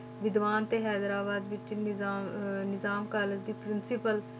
ਵਿਦਵਾਨ ਤੇ ਹੈਦਰਾਬਾਦ ਵਿੱਚ ਨਿਜ਼ਾ~ ਅਹ ਨਿਜ਼ਾਮ college ਦੀ principal